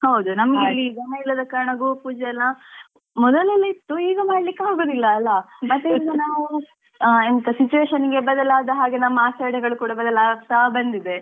ಹೌದು ನಮಗೆ ಇಲ್ಲಿ ದನ ಇಲ್ಲದ ಕಾರಣ ಗೋಪೂಜೆ ಎಲ್ಲಾ ಮೊದಲೆಲ್ಲಾ ಇತ್ತು ಈಗ ಮಾಡ್ಲಿಕ್ಕೆ ಅಗುದಿಲ್ಲಾ ಅಲ್ಲಾ ಮತ್ತೆ ಈಗ ನಾವೂ ಎಂತ situation ಗೆ ಬದಲಾದ ಹಾಗೆ ನಮ್ಮ ಆಚರಣೆಗಳು ಕೂಡ ಬದಲಾಗ್ತಾ ಬಂದಿದೆ.